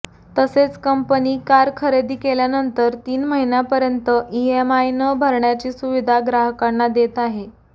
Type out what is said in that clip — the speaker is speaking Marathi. तसेच कंपनी कार खरेदी केल्यानंतर तीन महिन्यापर्यंत ईएमआय न भरण्याची सुविधा ग्राहकांना देत आहे